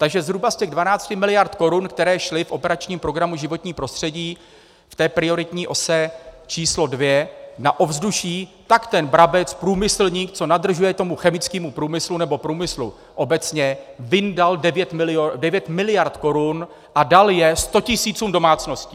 Takže zhruba z těch 12 miliard korun, které šly v operačním programu Životní prostředí, v té prioritní ose číslo dvě, na ovzduší, tak ten Brabec, průmyslník, co nadržuje tomu chemickému průmyslu, nebo průmyslu obecně, vyndal 9 miliard korun a dal je sto tisícům domácností!